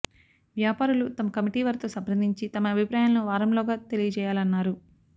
వ్యాపారులు తమ కమిటీ వారితో సంప్రదించి తమ అభిప్రాయాలను వారంలోగా తెలియజేయాలన్నారు